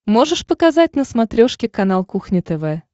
можешь показать на смотрешке канал кухня тв